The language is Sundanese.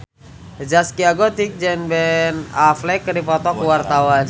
Zaskia Gotik jeung Ben Affleck keur dipoto ku wartawan